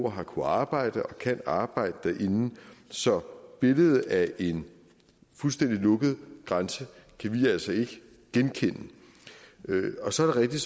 har kunnet arbejde og kan arbejde derinde så billedet af en fuldstændig lukket grænse kan vi altså ikke genkende så er det